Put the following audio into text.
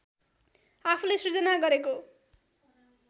आफूले सृजना गरेको